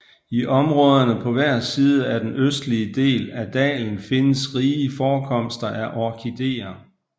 I områderne på hver side af den østlige del af dalen findes rige forekomster af orkideer